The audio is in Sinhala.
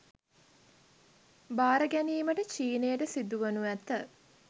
භාර ගැනීමටත් චීනයට සිදුවනු ඇත